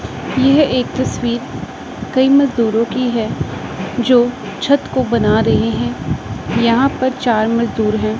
यह एक तस्वीर कई मजदूर की है जो छत को बना रहे है यहां पर चार मजदूर है।